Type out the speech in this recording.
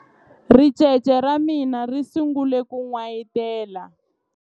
ricece ra mina ri sungule ku n'wayitela